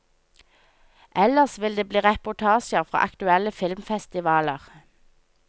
Ellers vil det bli reportasjer fra aktuelle filmfestivaler.